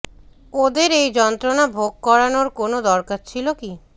ওদের এই যন্ত্রণা ভোগ করানোর কোনও দরকার ছিল কি